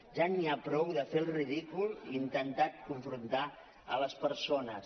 ja n’hi ha prou de fer el ridícul intentant confrontar les persones